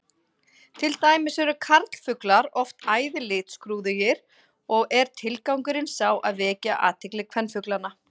Til dæmis eru karlfuglar oft æði litskrúðugir og er tilgangurinn sá að vekja athygli kvenfuglanna.